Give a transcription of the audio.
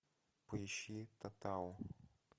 поищи татау